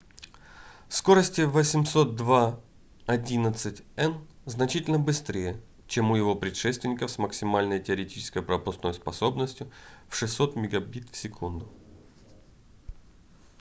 скорости 802.11n значительно быстрее чем у его предшественников с максимальной теоретической пропускной способностью в 600 мбит/с